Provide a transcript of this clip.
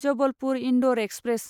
Jabalpur Indore express